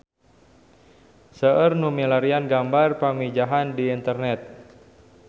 Seueur nu milarian gambar Pamijahan di internet